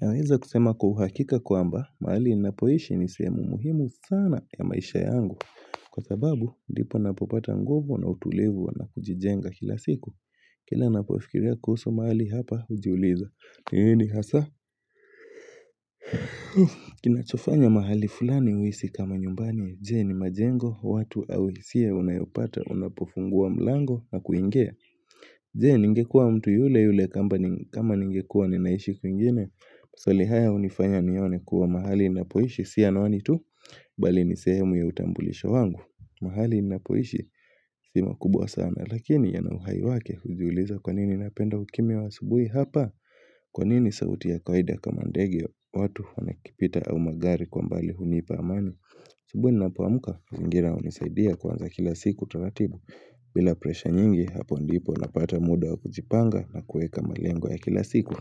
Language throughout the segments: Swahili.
Naweza kusema kwa uhakika kwamba mahali ninapoishi nisehemu muhimu sana ya maisha yangu Kwa sababu ndipo napopata nguvu na utulivu na kujijenga kila siku Kila ninapofikiria kuhusu mahali hapa hujiuliza ni nini hasa Kinachofanya mahali fulani uhisi kama nyumbani Je ni majengo watu au hisia unayopata unapofungua mlango na kuingia Je ningekua mtu yule yule kama ningekua ninaishi kwingine maswali haya hunifanya nione kuwa mahali ninapoishi Si anwani tu Bali ni sehemu ya utambulisho wangu mahali ninapoishi Si makubwa sana Lakini yanauhai wake kujiuliza kwanini napenda ukimya wa asubuhi hapa Kwa nini sauti ya kawaida kama ndege watu wanakipita au magari kwa mbali hunipa amani asubuhi ninapoamka mazingira hunisaidia kuanza kila siku taratibu bila presha nyingi hapo ndipo napata muda wa kujipanga na kuweka malengo ya kila siku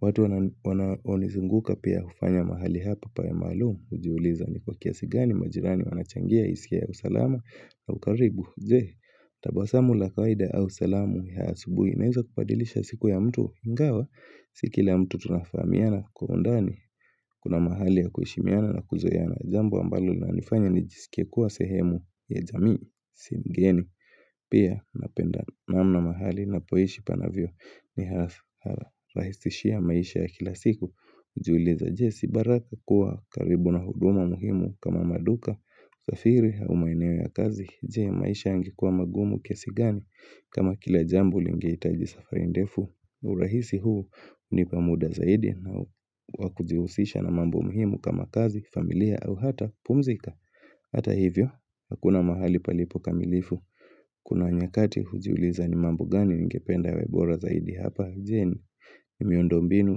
watu wanaonizunguka pia hufanya mahali hapa pawe maalumu kujiuliza ni kwa kiasi gani majirani wanachangia hisia ya usalama au karibu je tabasamu la kawaida au salamu ya asubuhi inaweza kubadilisha siku ya mtu ingawa Sikila mtu tunafahamiana kwa undani kuna mahali ya kuheshimiana na kuzoeana jambo ambalo linanifanya nijisikie kuwa sehemu ya jamii si mgeni Pia napenda namna mahali ninapoishi panavyo nirahisishia maisha ya kila siku hujuliza je si baraka kuwa karibu na huduma muhimu kama maduka, safiri au maeneo ya kazi Je maisha yange kuwa magumu kiasi gani kama kila jambo lingehitaji safari ndefu urahisi huu hunipa muda zaidi na wakujihusisha na mambo muhimu kama kazi, familia au hata pumzika Hata hivyo, hakuna mahali palipo kamilifu Kuna nyakati hujiuliza ni mambo gani ningependa yawe bora zaidi hapa jeni miundo mbinu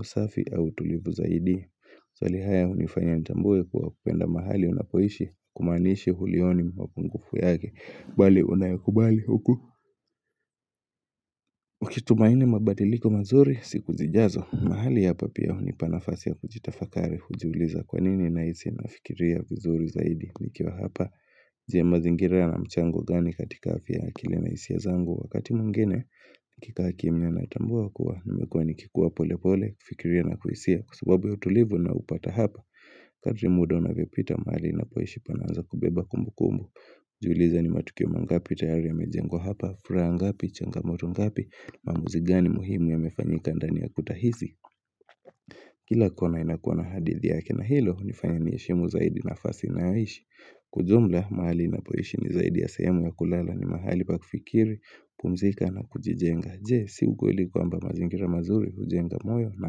usafi au tulivu zaidi maswali haya hunifanya nitambue kuwa kupenda mahali unapoishi hakumaanishi hulioni mwapungufu yake Bali unayakubali huku Ukitumaini mabadiliko mazuri siku zijazo mahali hapa pia hunipa nafasi ya kujitafakari hujiuliza kwa nini nahisi nafikiria vizuri zaidi Nikiwa hapa je mazingira yana mchango gani katika afya akili nahisia zangu Wakati mwingine, nikikaa kimia natambua kua, nimekuwa nikikuwa polepole, fikiria na kuhisia, kwa sababu utulivu ninaoupata hapa, kadri muda unavyopita mahali ninapoishi panaanza kubeba kumbukumbu. Jiulize ni matukio mangapi, tayari yamejengwa hapa, furaha ngapi, changamoto ngapi, maamuzi gani muhimu yamefanyika ndani ya kuta hizi. Kila kona inakua na hadithi yake na hilo, hunifanya niheshimu zaidi nafasi ninayoishi. Ujumla, mahali ninapoishi ni zaidi ya sahemu ya kulala ni mahali pa kufikiri, kupumzika na kujijenga Je, si ukweli kwamba mazingira mazuri, hujenga moyo, na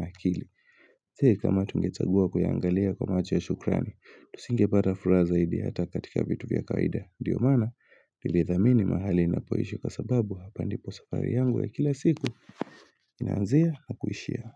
akili je, kama tungechagua kuyaangalia kwa macho ya shukrani Tusinge pata fura zaidi hata katika vitu vya kawaida ndio maana, nilithamini mahali ninapoishi kwa sababu hapa ndipo safari yangu ya kila siku Inaanzia, na kuishia.